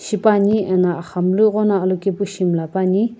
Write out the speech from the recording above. tipane ano agham lu egqo na alokaepu shi miilapane.